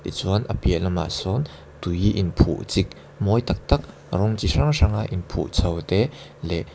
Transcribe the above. tichuan a piah lamah sawn tui in phuh chik mawi tak tak rawng chi hrang hrang a in phuh chhoh te leh--